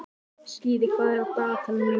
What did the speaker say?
Skíði, hvað er á dagatalinu mínu í dag?